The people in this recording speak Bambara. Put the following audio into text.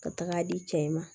Ka taga di cɛ in ma